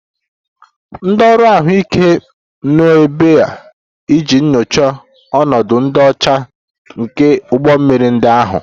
Ndị ọrụ ahụike nọ ebe a iji nyochaa ọnọdụ ịdị ọcha nke ụgbọ mmiri ndị ahụ